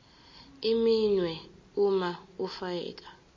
iminwe uma ufika